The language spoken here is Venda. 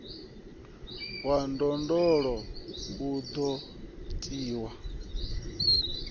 wa ndondolo u do tiwa